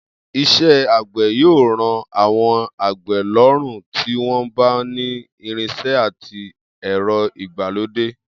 Is̩é̩ àgbè̩ yóò ro̩ àwo̩n àgbè̩ ló̩rùn tí wó̩n bá ni irins̩e̩ àti è̩ro̩ ìgbàlódé